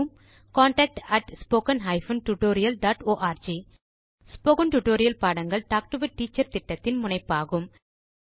contact spoken hyphen tutorial dot org spoken tutorial பாடங்கள் talk to a teacher திட்டத்தின் முனைப்பாகும்